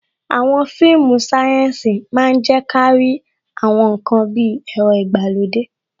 Àwọn fíìmù sayensi máa ń je kárí àwọn ǹkan bí ẹ̀rọ ìgbàlódé.